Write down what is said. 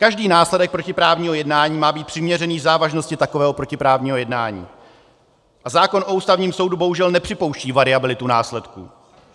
Každý následek protiprávního jednání má být přiměřený závažnosti takového protiprávního jednání a zákon o Ústavním soudu bohužel nepřipouští variabilitu následků.